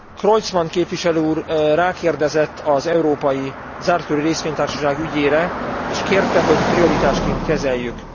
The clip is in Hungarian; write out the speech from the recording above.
Creutzmann képviselőúr rákérdezett az európai zártkörű részvénytársaság ügyére és kérte, hogy prioritásként kezeljük.